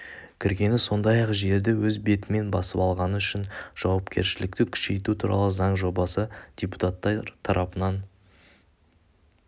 кіргені сондай-ақ жерді өз бетімен басып алғаны үшін жауапкершілікті күшейту туралы заң жобасы депутаттар тарапынан